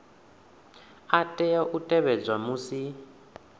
a tea u tevhedzwa musi